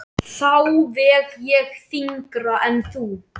Þá veg ég þyngra en þú.